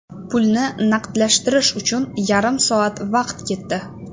Pulni naqdlashtirish uchun yarim soat vaqt ketdi.